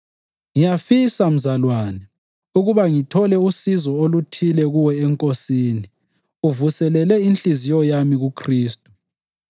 Ngiyafisa, mzalwane, ukuba ngithole usizo oluthile kuwe eNkosini; uvuselele inhliziyo yami kuKhristu.